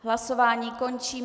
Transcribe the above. Hlasování končím.